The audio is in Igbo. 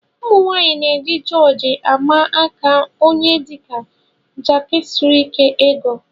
Ụmụnwanyị na eji jorji ama aka ónyé dị ya jikarisiri égo.